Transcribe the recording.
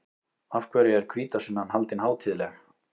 Af hverju er hvítasunnan haldin hátíðleg?